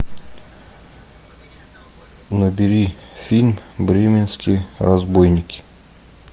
набери фильм бременские разбойники